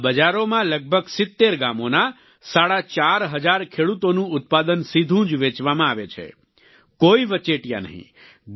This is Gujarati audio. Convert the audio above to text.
આ બજારોમાં લગભગ 70 ગામોના સાડા ચાર હજાર ખેડૂતોનું ઉત્પાદન સીધું જ વેચવામાં આવે છે કોઈ વચેટિયા નહીં